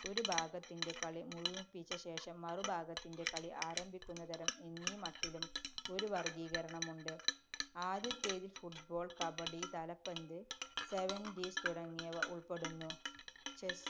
ഒരു ഭാഗത്തിന്‍റെ കളി മുഴുമിപ്പിച്ചശേഷം മറുഭാഗത്തിന്‍റെ കളി ആരംഭിക്കുന്നതരം എന്നീ മട്ടിലും ഒരു വര്‍ഗീകരണമുണ്ട്. ആദ്യത്തേതില്‍ football, കബഡി, തലപ്പന്ത്, seventees തുടങ്ങിയവ ഉള്‍പ്പെടുന്നു.